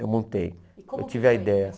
Eu montei, eu tive a ideia.